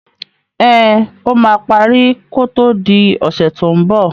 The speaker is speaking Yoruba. Ẹn, ó máa parí kó tó di ọ̀sẹ̀ tó ń bọ̀.